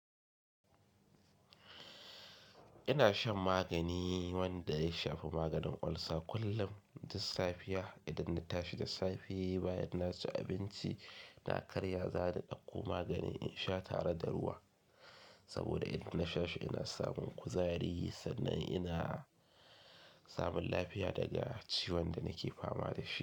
Ina shan magani wanda ya shafi maganin ulcer kullum. Duk safiya idan na tashi da safe bayan na ci abinci na karya za ni ɗauko maganin in sha tare da ruwa. Saboda idan na sha shi ina samun kuzari sannan ina samun lafiya daga ciwon da nake fama da shi.